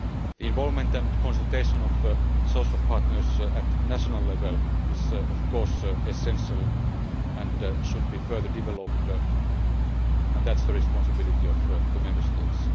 The involvement and consultation of social partners at national level is, of course, essential and should be further developed, and that is the responsibility of the Member States.